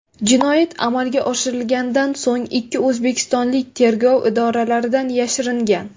Jinoyat amalga oshirilganidan so‘ng ikki o‘zbekistonlik tergov idoralaridan yashiringan.